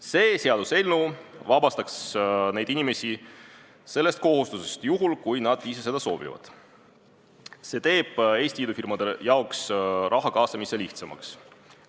See seaduseelnõu vabastaks need inimesed sellest kohustusest, juhul kui nad ise seda soovivad, ja teeks Eesti idufirmade jaoks raha kaasamise lihtsamaks.